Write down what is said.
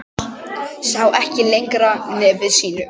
Sá ekki lengra nefi sínu.